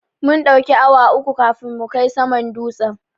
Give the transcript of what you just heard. Mun ɗauki awa uku kafin mu kai saman dutsen.